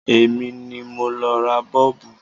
Èmi ni mo lo ra Bọ́ọ̀bù.